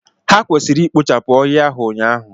Ha kwesiri ikpochapụ ọhia ahụ ụnyahụ!